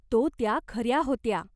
तो त्या खऱ्या होत्या.